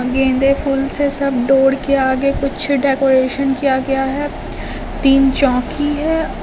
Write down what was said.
गेंदे फूल से सब डोर के आगे कुछ डेकोरेशन किया गया है तीन चौकी है।